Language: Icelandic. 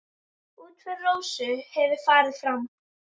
Útför Rósu hefur farið fram.